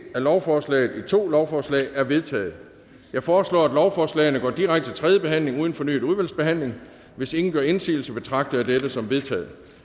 lovforslaget i to lovforslag er vedtaget jeg foreslår at lovforslagene går direkte til tredje behandling uden fornyet udvalgsbehandling hvis ingen gør indsigelse betragter jeg dette som vedtaget